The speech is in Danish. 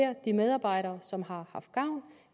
at de medarbejdere som har haft gavn